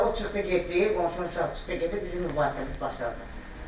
Sonra o çıxdı getdi, qonşunun uşağı çıxdı getdi bizim mübahisəmiz başladı.